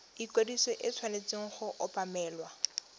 ikwadiso e tshwanetse go obamelwa